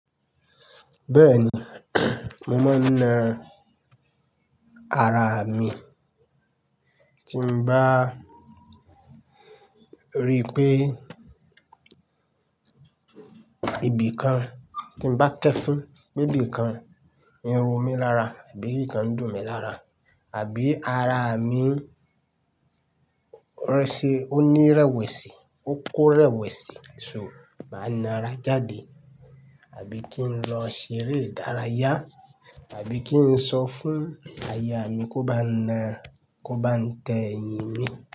Bẹ́ẹ̀ni, mo máa ń na ara mi. Tí mo bá rí pé ibi kan, tí mo bá kẹẹfin pé ibi kan, in ro mi lára àbí ibi ǹkan dùn mí lára àbí ara mi ó ní rẹwẹ̀sì, ó kó rẹwẹ̀sì, so máa na ara jáde àbí kí n lọ ṣeré ìdárayá àbí kí n sọ fún aya mi kó bá a na, kó bá n tẹ ẹ̀yìn mi.